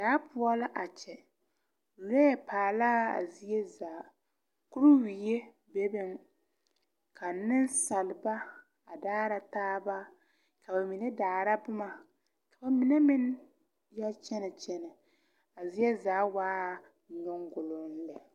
Daa poɔ la a kyɛ lɔɛ are laa zie zaa kuiriwie bebeŋ ka neŋsalba a daara taaba ka ba mine daara bomma ka ba mine meŋ yɛ kyɛnɛ kyɛnɛ a zie zaa waa nyoguloŋ lɛ.